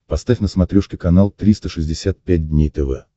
поставь на смотрешке канал триста шестьдесят пять дней тв